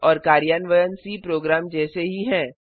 तर्क और कार्यान्वयन सी प्रोग्राम जैसे ही हैं